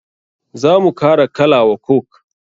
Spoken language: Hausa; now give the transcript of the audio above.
Za mu kara kala wa coke.